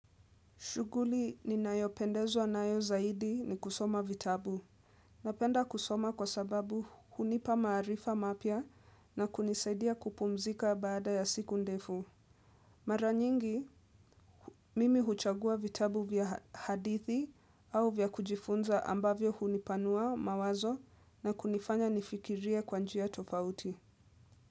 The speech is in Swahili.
Shughuli ninayopendezwa nayo zaidi ni kusoma vitabu. Napenda kusoma kwa sababu hunipa maarifa mapya na kunisaidia kupumzika baada ya siku ndefu. Mara nyingi, mimi huchagua vitabu vya hadithi au vya kujifunza ambavyo hunipanua mawazo na kunifanya nifikirie kwa njia tofauti.